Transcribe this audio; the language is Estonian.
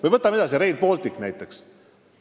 Või võtame edasi, Rail Baltic näiteks.